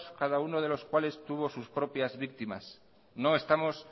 cada uno de los cuales tuvo sus propias víctimas no estamos